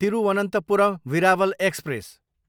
Thiruvananthapuram, Veraval express